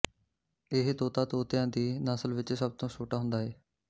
ਇਹ ਤੋਤਾ ਤੋਤਿਆਂ ਦੀ ਨਸਲ ਵਿਚ ਸਭ ਤੋਂ ਵੱਡਾ ਹੁੰਦਾ ਏ